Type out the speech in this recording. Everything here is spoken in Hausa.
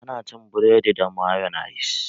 Ana cin buredi da mayonis.